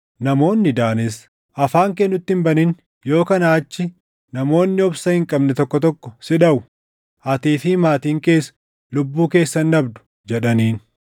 Namoonni Daanis, “Afaan kee nutti hin banin; yoo kanaa achii namoonni obsa hin qabne tokko tokko si dhaʼu; atii fi maatiin kees lubbuu keessan dhabdu” jedhaniin.